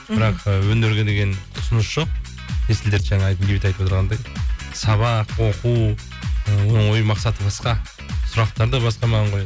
мхм бірақ ы өнерге деген құлшыныс жоқ есіл дерті жаңа бейбіт айтып отырғандай сабақ оқу оның ойы мақсаты басқа сұрақтары да басқа маған